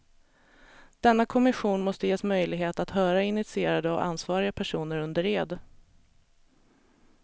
Denna kommission måste ges möjlighet att höra initierade och ansvariga personer under ed.